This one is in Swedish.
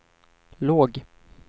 låg